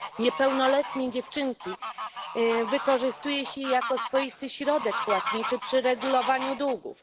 Niepełnoletnie dziewczynki wykorzystuje się jako swoisty środek płatniczy przy regulowaniu długów.